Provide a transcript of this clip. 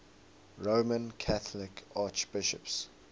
roman catholic archbishops